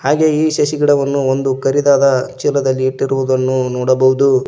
ಹಾಗೆ ಈ ಶಶಿ ಗಿಡವನ್ನು ಒಂದು ಕರಿದಾದ ಚೀಲದಲ್ಲಿ ಇಟ್ಟಿರುವುದನ್ನು ನೋಡಬಹುದು.